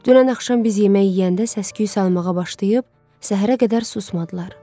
Dünən axşam biz yemək yeyəndə səs-küy salmağa başlayıb, səhərə qədər susmadılar.